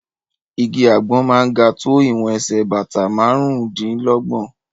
Igi àgbọn máa ń ga tó ìwọ̀n ẹsẹ̀ bàtà márùn-ún dí lọ́gbọ̀n.